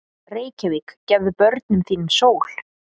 Reykjavík, gefðu börnum þínum sól!